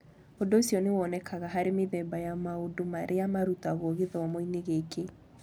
Ũndũ ũcio nĩ wonekaga harĩ mĩthemba ya maũndũ marĩa marutagwo gĩthomo-inĩ gĩkĩ.